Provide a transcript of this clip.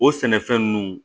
O sɛnɛfɛn ninnu